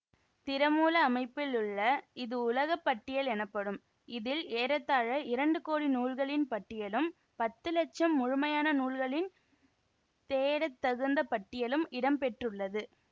திறமூல அமைப்பில் உள்ள இது உலக பட்டியல் எனப்படும் இதில் ஏறத்தாழ இரண்டு கோடி நூல்களின் பட்டியலும் பத்து இலட்சம் முழுமையான நூல்களின் தேடத்தகுந்த பட்டியலும் இடம்பெற்றுள்ளது